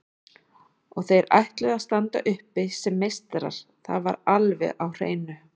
Og þeir ætluðu að standa uppi sem meistarar, það var alveg á hreinu.